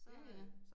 Ja ja